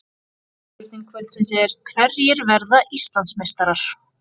Spurning kvöldsins er: Hverjir verða Íslandsmeistarar?